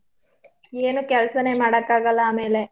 ಏನೂ ಕೆಲ್ಸನೇ ಮಾಡಕಾಗಲ್ಲ ಆಮೇಲೆ.